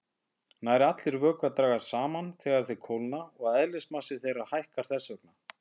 Nær allir vökvar dragast saman þegar þeir kólna og eðlismassi þeirra hækkar þess vegna.